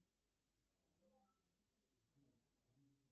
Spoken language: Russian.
разнообразные некоторые предложения будут